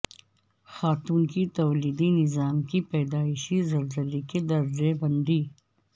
خاتون کی تولیدی نظام کی پیدائشی زلزلے کی درجہ بندی